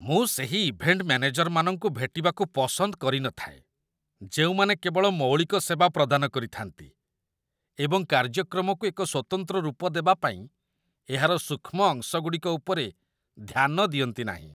ମୁଁ ସେହି ଇଭେଣ୍ଟ ମ୍ୟାନେଜରମାନଙ୍କୁ ଭେଟିବାକୁ ପସନ୍ଦ କରିନଥାଏ ଯେଉଁମାନେ କେବଳ ମୌଳିକ ସେବା ପ୍ରଦାନ କରିଥାନ୍ତି, ଏବଂ କାର୍ଯ୍ୟକ୍ରମକୁ ଏକ ସ୍ୱତନ୍ତ୍ର ରୂପ ଦେବା ପାଇଁ ଏହାର ସୂକ୍ଷ୍ମ ଅଂଶଗୁଡ଼ିକ ଉପରେ ଧ୍ୟାନ ଦିଅନ୍ତି ନାହିଁ।